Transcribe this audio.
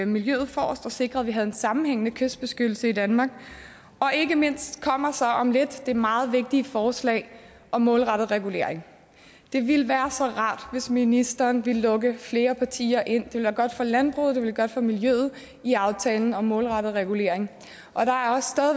miljøet forrest og sikrer at vi har en sammenhængende kystbeskyttelse i danmark ikke mindst kommer så om lidt det meget vigtige forslag om målrettet regulering det ville være så rart hvis ministeren ville lukke flere partier ind det ville være godt for landbruget det ville være godt for miljøet i aftalen om målrettet regulering